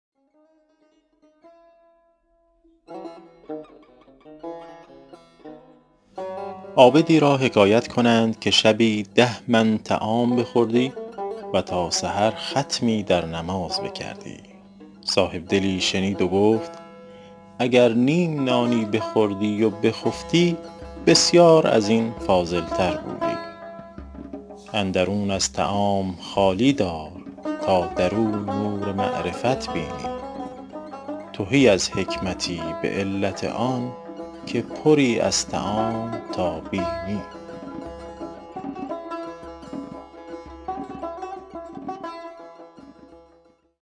عابدی را حکایت کنند که شبی ده من طعام بخوردی و تا سحر ختمی در نماز بکردی صاحبدلی شنید و گفت اگر نیم نانی بخوردی و بخفتی بسیار از این فاضل تر بودی اندرون از طعام خالی دار تا در او نور معرفت بینی تهی از حکمتی به علت آن که پری از طعام تا بینی